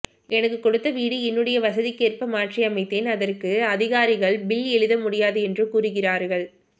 எனக்கு கொடுத்த வீடு என்னுடைய வசதிகேர்ப மாற்றி அமைத்தேன் அதர்கு அதிகாரிகள் பில் எழுதமுடியாது என்று கூரிகரராகள்